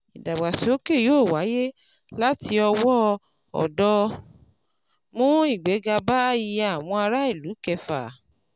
Ìdàgbàsókè yóò wáyé láti ọwọ́ ọ̀dọ́, mú igbéga bá iye àwọn ará ìlú kẹfà.